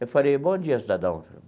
Eu falei, bom dia, cidadão.